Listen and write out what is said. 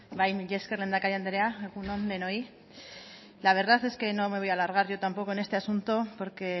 bai mila esker lehendakari andrea egun on denoi la verdad es que no me voy a alargar yo tampoco en este asunto porque